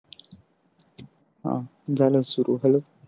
हा झाल सुरु hello